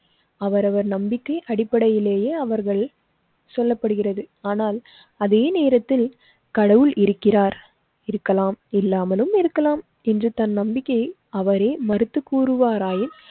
அவரவர் நம்பிக்கை அடிப்படையிலேயே அவர்கள் சொல்லப்படுகிறது. ஆனால் அதே நேரத்தில் கடவுள் இருக்கிறார், இருக்கலாம் இல்லாமலும் இருக்கலாம் என்று தன் நம்பிக்கையே அவரே மறுத்து கூறுவாராயின்